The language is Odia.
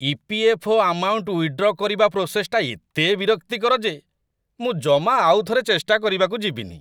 ଇ.ପି.ଏଫ୍.ଓ. ଆମାଉଣ୍ଟ ୱିଦ୍‌ଡ୍ର କରିବା ପ୍ରୋସେସ୍‌ଟା ଏତେ ବିରକ୍ତିକର ଯେ ମୁଁ ଜମା ଆଉ ଥରେ ଚେଷ୍ଟା କରିବାକୁ ଯିବିନି ।